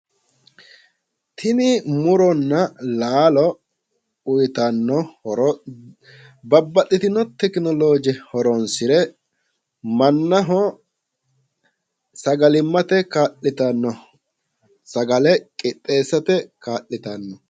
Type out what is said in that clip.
Tini muronna laalo uyiitanno horo babbaxxitino tekinolooje horonsire mannaho sagalimmate kaa'litanno sagale qixxeessate kaa'litanno